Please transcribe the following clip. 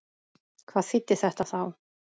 Hvað þýddi þetta þá?